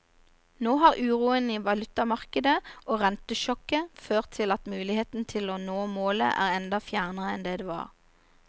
Nå har uroen i valutamarkedet og rentesjokket ført til at muligheten til å nå målet er enda fjernere enn det var.